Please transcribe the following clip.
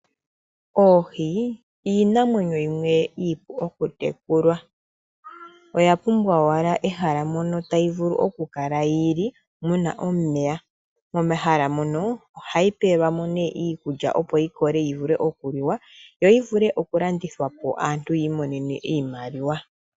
Oohi iinamwenyo yimwe iipu okutekulwa. Oya pumbwa owala ehala mono tayi vulu okukala yi li muna omeya. Momahala mono ohayi pelwa mo nee iikulya opo yi koke yi vule okuliwa yo yivule okulandithwa po aantu yiimonene iimaliwa.